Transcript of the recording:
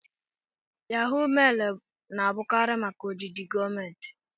Yahó mailu na-abụkarị maka ojiji gọọmentị